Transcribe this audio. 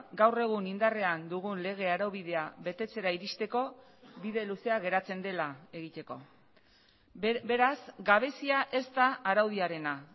gaur egun indarrean dugun lege araubidea betetzera iristeko bide luzea geratzen dela egiteko beraz gabezia ez da araudiarena